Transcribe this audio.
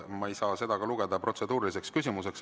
Ma ei saa ka seda lugeda protseduuriliseks küsimuseks.